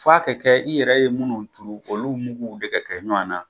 F'a ka kɛ i yɛrɛ ye minnu turu olu muguw de ka kɛ ɲɔana